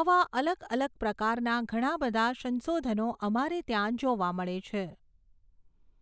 આવા અલગ અલગ પ્રકારના ઘણા બધા સંશોધનો અમારે ત્યાં જોવા મળે છે